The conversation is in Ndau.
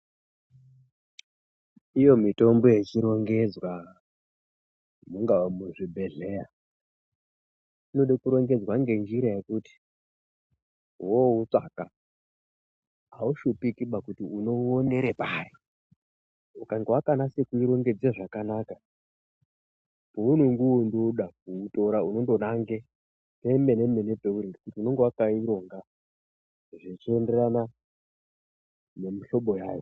Iyo mitombo ichirongedzwa mungaa muzvibhedhleya. Inode kurongedzwa ngenjira yekuti voutsvaga haushipikiba kuti unouonere pari. Ukange vakanase kuirongengedze zvakanaka pounongondoda kuutora unongo nange pemene-mene peuri unonga vaikaironga zvichienderana nemihlobo yayo.